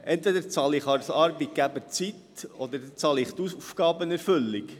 Entweder zahle ich als Arbeitgeber Zeit, oder ich zahle die Aufgabenerfüllung.